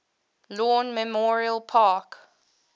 lawn memorial park